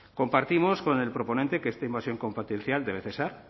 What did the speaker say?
compartimos con el proponente que esta invasión competencial debe cesar